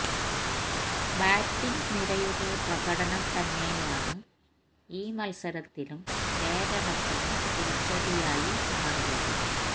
batting നിരയുടെ പ്രകടനം തന്നെയാണ് ഈ മല്സരത്തിലും കേരളത്തിനു തിരിച്ചടിയായി മാറിയത്